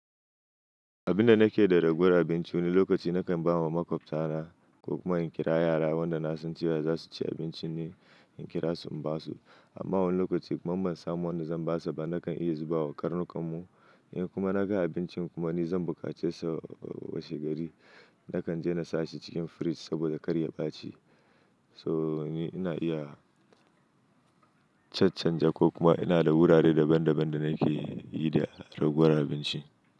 Abin da nake da raguwar abinci wani lokaci nakan ba wa maƙwabta na ko kuma in kira yara wanda na san cewa za su ci abincin ne in kira su in ba su. Amma wani lokaci kuma man samo wanda zan ba su ba nakan iya zubawa karnukan mu. In kuma naga abincin kuma ni zan bukace sa washe gari, nakan je na sashi cikin fridge saboda karya ɓaci. So ni ina iya cancanja ko kuma ina da wurare daban daban da nake yi da raguwar abinci.